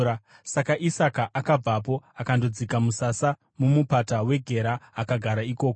Saka Isaka akabvapo akandodzika musasa muMupata weGera akagara ikoko.